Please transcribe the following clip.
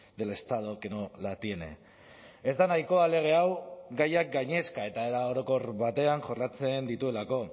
del estado que no la tiene ez da nahikoa lege hau gaiak gainezka eta era orokor batean jorratzen dituelako